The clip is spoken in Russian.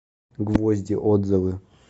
гвозди отзывы